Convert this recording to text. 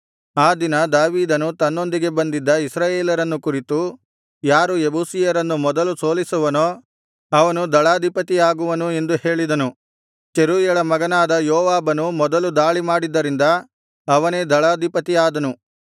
ಆ ದಿನ ದಾವೀದನು ತನ್ನೊಂದಿಗೆ ಬಂದಿದ್ದ ಇಸ್ರಾಯೇಲರನ್ನು ಕುರಿತು ಯಾರು ಯೆಬೂಸಿಯರನ್ನು ಮೊದಲು ಸೋಲಿಸುವನೋ ಅವನು ದಳಾಧಿಪತಿ ಆಗುವನು ಎಂದು ಹೇಳಿದನು ಚೆರೂಯಳ ಮಗನಾದ ಯೋವಾಬನು ಮೊದಲು ದಾಳಿ ಮಾಡಿದ್ದರಿಂದ ಅವನೇ ದಳಾಧಿಪತಿ ಆದನು